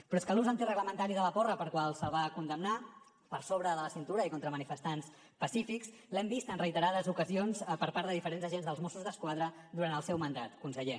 però és que l’ús antireglamentari de la porra pel qual se’l va condemnar per sobre de la cintura i contra manifestants pacífics l’hem vist en reiterades ocasions per part de diferents agents dels mossos d’esquadra durant el seu mandat conseller